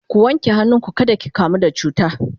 ku wanke hannu ku kada ki kamu da cuta!